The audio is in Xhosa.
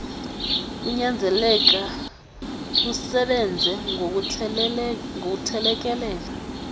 kunyanzeleka lusebenze ngokuthelekelela